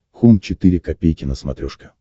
хоум четыре ка на смотрешке